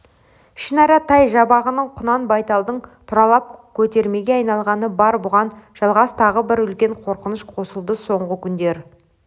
ішінара тай-жабағының құнан-байталдың тұралап көтеремге айналғаны бар бұған жалғас тағы бір үлкен қорқыныш қосылды соңғы күндер